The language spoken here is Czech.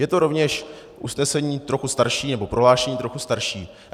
Je to rovněž usnesení trochu starší, nebo prohlášení trochu starší.